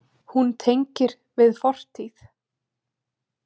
Hún tengir við fortíð.